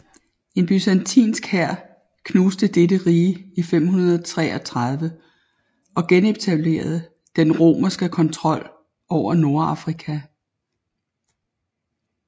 En byzantinsk hær knuste dette rige i 533 og genetablerede den romerske kontrol over Nordafrika